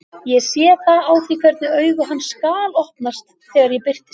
Ég sé það á því hvernig augu hans galopnast þegar ég birtist.